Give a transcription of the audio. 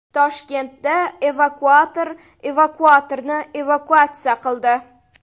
Toshkentda evakuator evakuatorni evakuatsiya qildi .